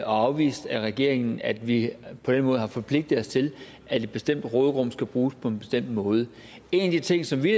afvist af regeringen at vi på den måde har forpligtet os til at et bestemt råderum skal bruges på en bestemt måde en af de ting som vi